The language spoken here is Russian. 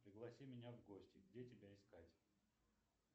пригласи меня в гости где тебя искать